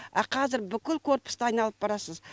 а қазір бүкіл корпусты айналып барасыз